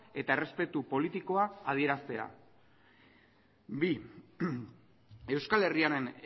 eta errespetu politikoa adieraztea bi euskal herriaren